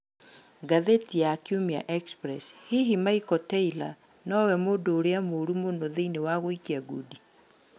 (Ngathĩti ya Kiumia Express )Hihi Michael Taylor Nowe 'Mũndũ Ũrĩa Mũũru Mũno' Thĩinĩ wa gũikia ngundi?